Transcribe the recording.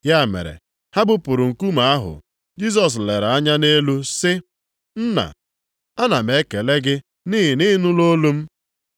Ya mere, ha bupụrụ nkume ahụ. Jisọs lere anya nʼelu sị, “Nna, ana m ekele gị nʼihi na ị nụla olu m.